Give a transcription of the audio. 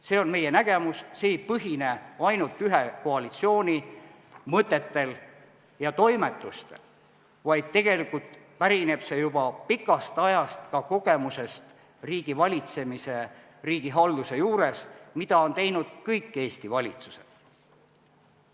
See on meie nägemus, see ei põhine ainult ühe koalitsiooni mõtetel ja toimetustel, vaid tegelikult pärineb see juba pikast ajast, see põhineb riigivalitsemise ja riigihalduse kogemustel, sellel, mida on teinud kõik Eesti valitsused.